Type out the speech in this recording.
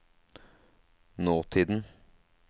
nåtiden